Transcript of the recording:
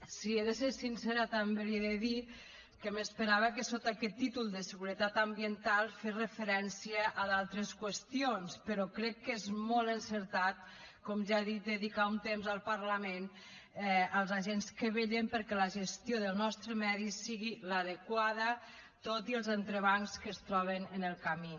si he de ser sincera també li he de dir que m’esperava que sota aquest títol de seguretat ambiental fes referència a d’altres qüestions però crec que és molt encertat com ja he dit dedicar un temps al parlament als agents que vetllen perquè la gestió del nostre medi sigui l’adequada tot i els entrebancs que es troben en el camí